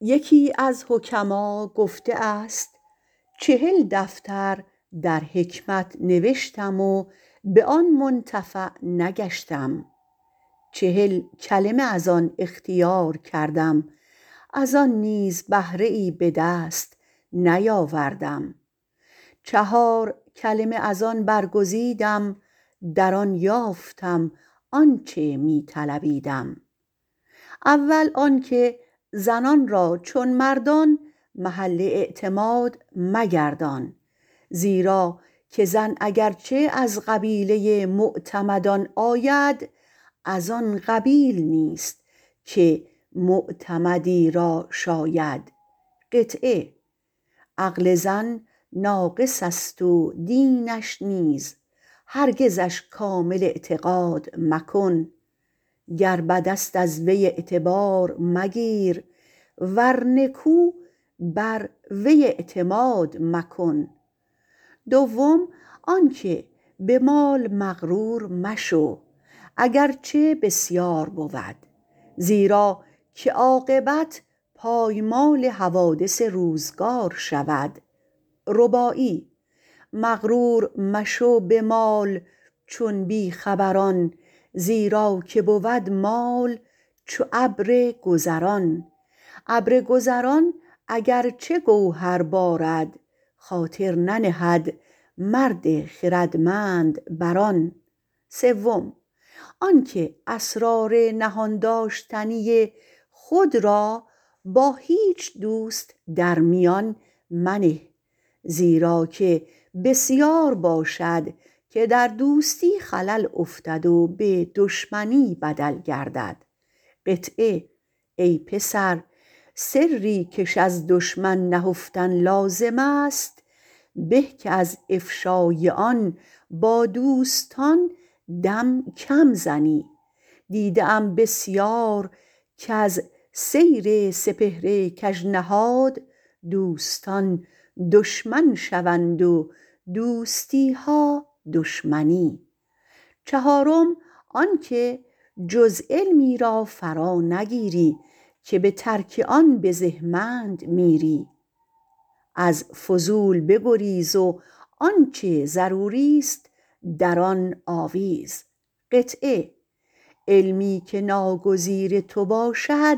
یکی از حکما گفته است چهل دفتر در حکمت نوشتم و به آن منتفع نگشتم چهل کلمه از آن اختیار کردم از آن نیز بهره به دست نیاوردم چهار کلمه از آن برگزیدم در آن یافتم آنچه می طلبیدم اول آن که زنان را چون مردان محل اعتماد نگردان زیرا که زن اگر چه از قبیله معتمدان آید از آن قبیل نیست که معتمدی را شاید عقل زن ناقص است و دینش نیز هرگزش کامل اعتقاد مکن گر بد است از وی اعتبار مگیر ور نکو بر وی اعتماد مکن دویم آن که به مال مغرور مشو اگر چه بسیار بود زیرا که عاقبت پایمال حوادث روزگار شود مغرور مشو به مال چون بی خبران زیرا که بود مال چو ابر گذران ابر گذران اگر چه گوهر بارد خاطر ننهد مرد خردمند بر آن سیم آن که اسرار نهان داشتنی خود را به هیچ دوست در میان منه زیراکه بسیار باشد که در دوستی خلل افتد و به دشمنی بدل گردد ای پسر سری کش از دشمن نهفتن لازم است به که از افشای آن با دوستان کم دم زنی دیده ام بسیار از سیر سپهر کج نهاد دوستان دشمن شوند و دوستیها دشمنی چهارم آن که جز علمی را فرانگیری که به ترک آن بزهمند میری از فضولی بگریز و آنچه ضروریست در آن آویز علمی که ناگزیر تو باشد